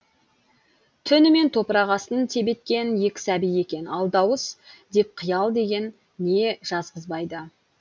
түнімен топрақ астын тебеткен екі сәби екен ал дауыс деп қиял деген не жазғызбайды